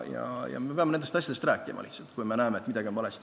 Ja me peame lihtsalt sellest rääkima, kui näeme, et midagi on valesti.